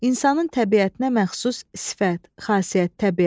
İnsanın təbiətinə məxsus sifət, xasiyyət, təbiət.